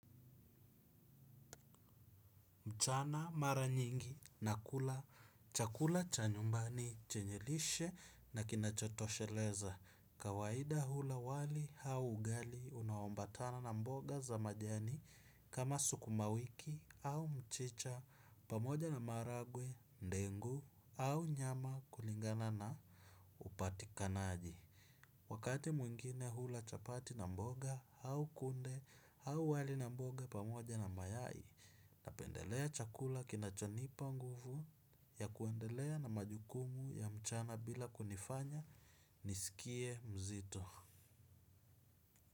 Mchana mara nyingi na kula chakula cha nyumbani chenye lishe na kinachotosheleza. Kawaida hula wali hau ugali unaombatana na mboga za majani kama sukuma wiki au mchicha pamoja na maharagwe, dengu au nyama kulingana na upatikanaji. Wakati mwingine hula chapati na mboga au kunde au wali na mboga pamoja na mayai. Napendelea chakula kinachonipa nguvu ya kuendelea na majukumu ya mchana bila kunifanya nisikie mzito.